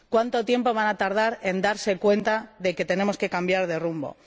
¿Cuánto tiempo van a tardar en darse cuenta de que tenemos que cambiar de rumbo?